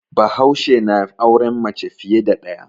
Bahaushe na auren mace fiye da ɗaya.